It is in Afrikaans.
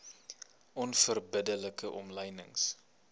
onverbidde like omlynings